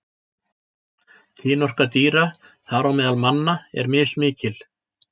Kynorka dýra, þar á meðal manna, er mismikil.